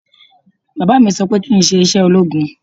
Bàbá mi sọ pé kí n ṣe iṣẹ́ ológun